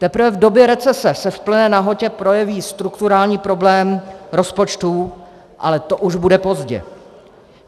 Teprve v době recese se v plné nahotě projeví strukturální problém rozpočtů, ale to už bude pozdě.